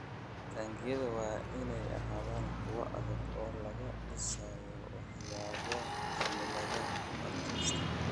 Taangiyada waa in ay ahaadaan kuwo adag oo laga dhisay waxyaabo cimilada u adkaysta.